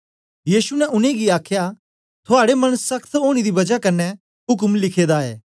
यीशु ने उनेंगी आखया थुआड़े मन सख्त होने दी बजाए उक्म लिखा ऐ